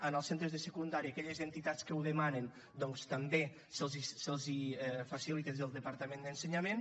en els centres de secundària a aquelles entitats que ho demanen doncs també se’ls facilita des del departament d’ensenyament